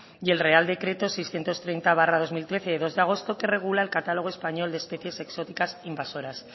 y el real decreto seiscientos treinta barra dos mil trece de dos de agosto que regula el catálogo español de especies exóticas invasoras